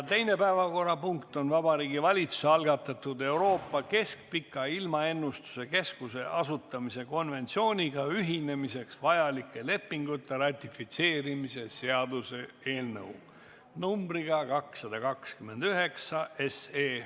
Teine päevakorrapunkt on Vabariigi Valitsuse algatatud Euroopa Keskpika Ilmaennustuse Keskuse asutamise konventsiooniga ühinemiseks vajalike lepingute ratifitseerimise seaduse eelnõu 229.